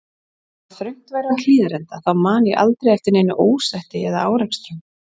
Þó að þröngt væri á Hlíðarenda þá man ég aldrei eftir neinu ósætti eða árekstrum.